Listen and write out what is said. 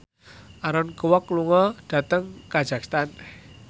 Aaron Kwok lunga dhateng kazakhstan